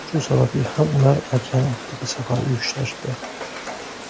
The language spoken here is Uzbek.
Shu sababli ham ular okeanortiga safar uyushtirishdi.